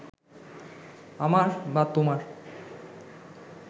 আমার বা তোমার